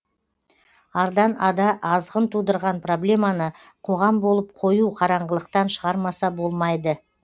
ардан ада азғын тудырған проблеманы қоғам болып қою қараңғылықтан шығармаса болмайды